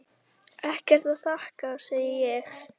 Ekkert að þakka, segi ég.